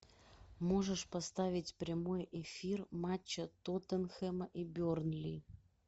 можешь поставить прямой эфир матча тоттенхэм и бернли